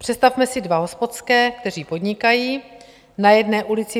Představme si dva hospodské, kteří podnikají na jedné ulici.